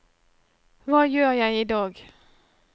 hva gjør jeg idag